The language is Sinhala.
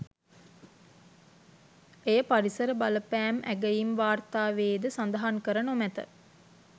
එය පරිසර බලපෑම් ඇගයීම් වාර්ථාවේ ද සඳහන් කර නොමැත